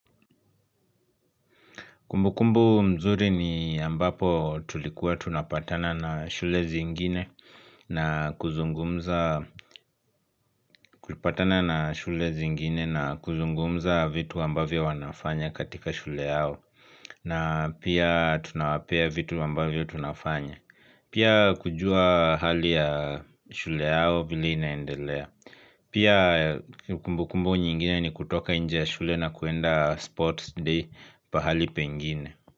Kumbukumbu mzuri ni ambapo tulikuwa tunapatana na shule zingine na kuzungumza vitu ambavyo wanafanya katika shule yao na pia tunawapea vitu ambavyo tunafanya. Pia kujua hali ya shule yao vile inaendelea. Pia kumbukumbu nyingine ni kutoka nje ya shule na kuenda sports day pahali pengine.